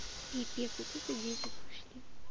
пиздец вот это дети пошли